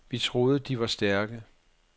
Vi troede de var stærke.